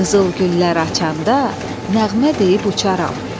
Qızıl güllər açanda nəğmə deyib uçarəm.